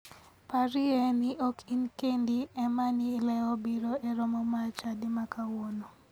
Parie ni ok in kendi ema ne ilewo biro e romo mar chadi ma kawuono.